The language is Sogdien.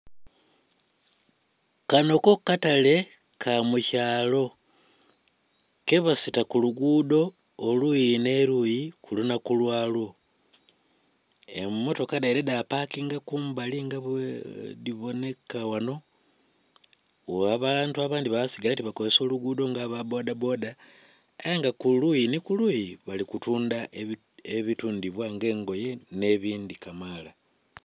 Kanho ko kataale kamukyaalo, ke basita ku luguudho oluyi nhe luyi ku lunhaku lwa lwo. Emotoka dhaidha dhapakinga kumbali nga bwedhi bonheka ghanho abantu abandhi baba ke basigala ke bakozesa olughudho nga aba boda boda ayenga kuluyi nhi kuluyi bali kutundha ebitundhibwa nga engoye nhebindhi kamaala.